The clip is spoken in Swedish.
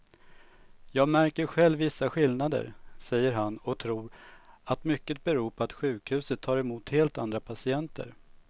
Jag märker själv vissa skillnader, säger han och tror att mycket beror på att sjukhuset tar emot helt andra patienter.